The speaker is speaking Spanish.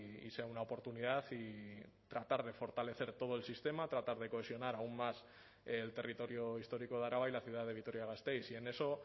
y sea una oportunidad y tratar de fortalecer todo el sistema tratar de cohesionar aún más el territorio histórico de araba y la ciudad de vitoria gasteiz y en eso